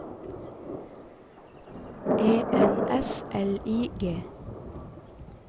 E N S L I G